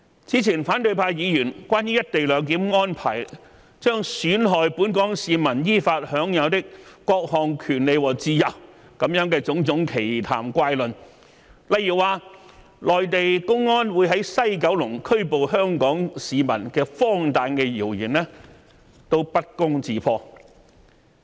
此前反對派議員關於"一地兩檢"安排將"損害本港市民依法享有的各項權利和自由"的種種奇談怪論，例如說內地公安將會在西九龍拘捕香港市民的荒誕的謠言，不攻自破。